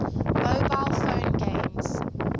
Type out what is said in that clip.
mobile phone games